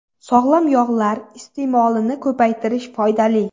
Sog‘lom yog‘lar iste’molini ko‘paytirish foydali.